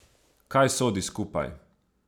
Kaj sodi skupaj?